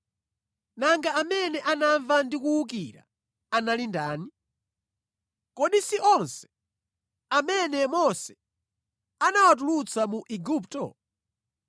Nanga amene anamva ndi kuwukira anali ndani? Kodi si onse amene Mose anawatulutsa mu Igupto?